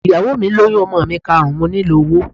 Ìyàwó mi lóyún ọmọ mi karùn-ún, mo nílò owó.